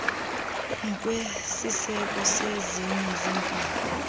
ngokwesiseko sezinye zeempawu